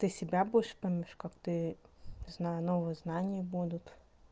ты себя будешь помнишь как ты не знаю новые знания будут